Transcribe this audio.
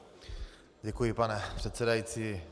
Děkuji, pane předsedající.